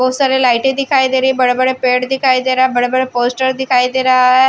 बहोत सारी लाइटे दिखाई दे रही बड़े-बड़े पेड़ दिखाई दे रहा है बड़े-बड़े पोस्टर दिखाई दे रहा है।